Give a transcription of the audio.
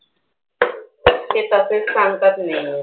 ते तसेच सांगतात मिनू.